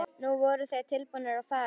Nú voru þeir tilbúnir að fara.